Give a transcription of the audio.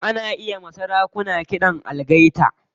Ana iya sarakuna kiɗan algaita.